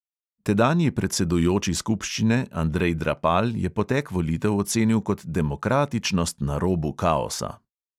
Tedanji predsedujoči skupščine andrej drapal je potek volitev ocenil kot demokratičnost na robu kaosa.